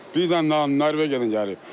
Bir də Norveçdən gəlir.